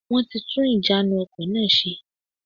Wọ́n ti tún ìjánu ọkò náà se